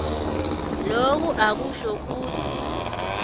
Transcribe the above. loku akusho kutsi